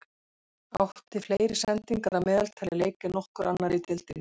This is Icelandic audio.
Átti fleiri sendingar að meðaltali í leik en nokkur annar í deildinni.